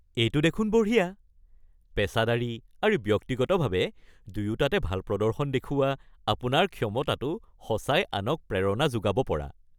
এইটো দেখোন বঢ়িয়া। পেচাদাৰী আৰু ব্যক্তিগতভাৱে দুয়োটাতে ভাল প্ৰদৰ্শন দেখুওৱা আপোনাৰ ক্ষমতাটো সঁচাই আনক প্ৰেৰণা যোগাব পৰা।